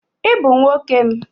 Ị bụ nwoke m.